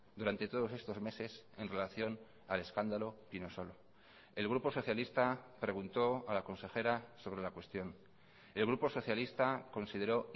durante todos estos meses en relación al escándalo pinosolo el grupo socialista preguntó a la consejera sobre la cuestión el grupo socialista consideró